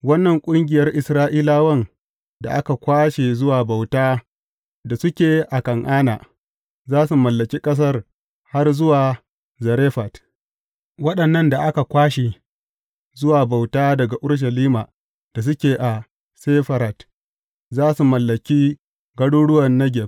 Wannan ƙungiyar Isra’ilawan da aka kwashe zuwa bauta da suke a Kan’ana za su mallaki ƙasar har zuwa Zarefat; waɗannan da aka kwashe zuwa bauta daga Urushalima da suke a Sefarad za su mallaki garuruwan Negeb.